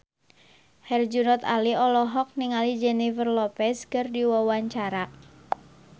Herjunot Ali olohok ningali Jennifer Lopez keur diwawancara